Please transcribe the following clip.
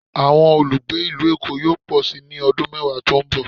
Awọn olugbe ilu Èko yoo pọ si ni ọdun mẹwa to n bọ